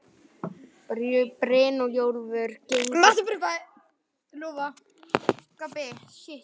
Brynjólfur gengur hægt þröngar götur hverfisins.